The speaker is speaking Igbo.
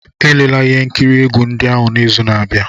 Elela ihe nkiri egwu ndị ahụ n'izu na-abịa!